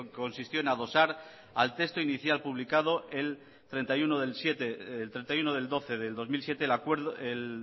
que consistió en adosar al texto inicial publicado el treinta y uno de doce del dos mil siete el